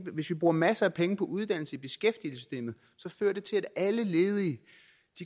hvis vi bruger masser af penge på uddannelse i beskæftigelsessystemet fører det til at alle ledige